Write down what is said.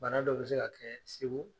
Bana dɔ be se ka kɛ segu